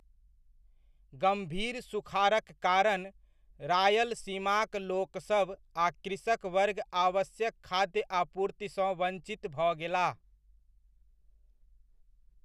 गम्भीर सुखाड़क कारण, रायलसीमाक लोकसब आ कृषक वर्ग आवश्यक खाद्य आपूर्तिसँ वञ्चित भऽ गेलाह।